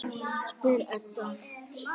spyr Edda.